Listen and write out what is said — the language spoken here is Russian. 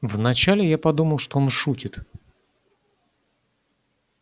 вначале я подумал что он шутит